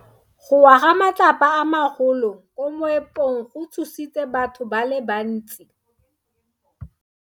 Go wa ga matlapa a magolo ko moepong go tshositse batho ba le bantsi.